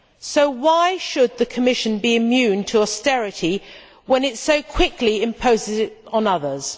So why should the Commission be immune to austerity when it so quickly imposes it on others?